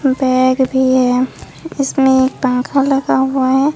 Bag भी है इसमें पंखा लगा हुआ है।